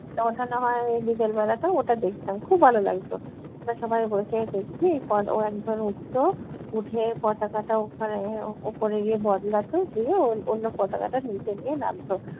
ওটা ওঠানো হয় ওই বিকেল বেলাটা, ওটা দেখতাম খুব ভালো লাগতো। আমরা সবাই বসে দেখছি ও একজন উঠতো, উঠে পতাকাটা ওখানে ওপরে গিয়ে বদলাতো দিয়ে ওই অন্য পতাকাটা নিচে নিয়ে নাবতো।